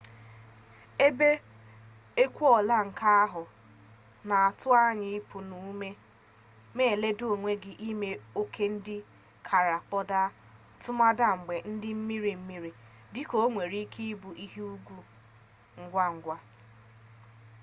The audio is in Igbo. ebe ekuola nke ahụ na-atụ anya ịpụ n'ume ma ledo onwe gị n'ime oke ndị kara kpodaa tụmadị mgbe dị mmiri mmiri dị ka o nwere ike ịbụ ihe egwu ngwa ngwa